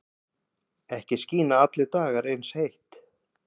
Ekki skína allir dagar eins heitt.